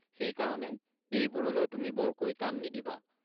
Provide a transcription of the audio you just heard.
সেই কাৰণে এইবোৰলৈ তুমি বৰকৈ কাণ নিদিবা!